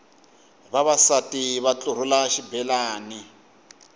vavasati va ntlurhula xibelani